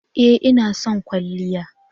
Ee! Ina son kwalliya